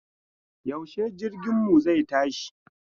Yaushe jirginmu zai tashi?